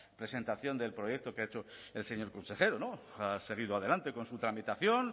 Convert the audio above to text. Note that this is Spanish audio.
presentación del proyecto que ha hecho el señor consejero ha seguido adelante con su tramitación